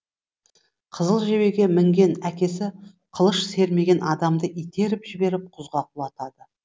қызыл жебеге мінген әкесі қылыш сермеген адамды итеріп жіберіп құзға құлатады